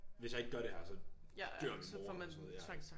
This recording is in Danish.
Hvis jeg ikke gør det her så dør min mor eller sådan noget ja